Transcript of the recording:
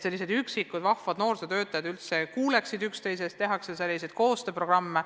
Selleks, et üksikud vahvad noorsootöötajad üldse kuuleksid üksteisest, tehaksegi mitmesuguseid koostööprogramme.